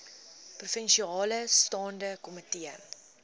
provinsiale staande komitee